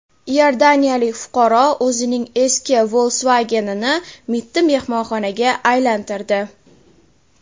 Iordaniyalik fuqaro o‘zining eski Volkswagen’ini mitti mehmonxonaga aylantirdi.